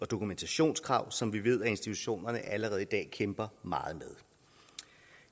dokumentationskrav som vi ved institutionerne allerede i dag kæmper meget med